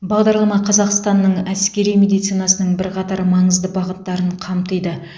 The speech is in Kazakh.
бағдарлама қазақстанның әскери медицинасының бірқатар маңызды бағыттарын қамтиды